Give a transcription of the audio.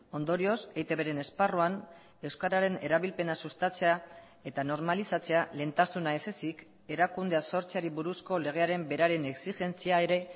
ondorioz eitbren esparruan euskararen erabilpena sustatzea eta normalizatzea lehentasuna ezezik erakundea sortzeari buruzko legearen beraren exigentzia ere